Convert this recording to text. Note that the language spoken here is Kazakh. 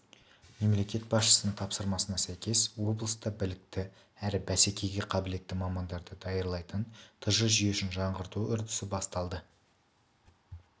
мемлекет басшысының тапсырмасына сәйкес облыста білікті әрі бәсекеге қабілетті мамандарды даярлайтын тж жүйесін жаңғырту үдерісі басталды